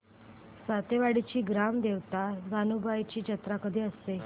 सातेवाडीची ग्राम देवता जानुबाईची जत्रा कधी असते